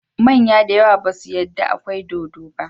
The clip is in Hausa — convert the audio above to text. Manya dayawa basu yada akwai dodo ba